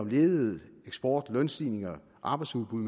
ledighed eksport lønstigninger arbejdsudbud